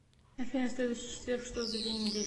афина следующий четверг что за день недели